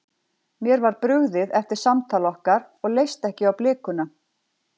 Mér var brugðið eftir samtal okkar og leist ekki á blikuna.